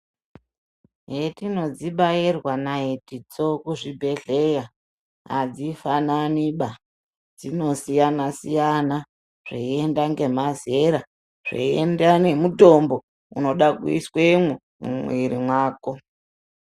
Yetinodzibairwa naitidzo kuchibhedheya adzifananiba dzinosiyana siyana zveinda ngemazera zveinda ngemutombo unoda kuiswemwo mumwiri mwako.